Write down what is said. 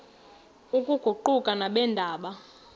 oku kuquka nabeendaba